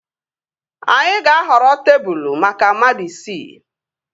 Anyị ga-ahọrọ tebụl maka mmadụ isii